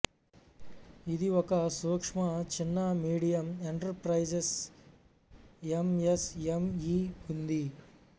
ఇది ఒక సూక్ష్మ చిన్న మీడియం ఎంటర్ప్రైజెస్ ఎంఎస్ఎంఈ ఉంది